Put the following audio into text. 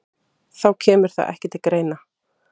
Þá kemur það ekki til greina